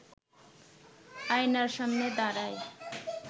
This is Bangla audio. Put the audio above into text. আয়নার সামনে দাঁড়ায়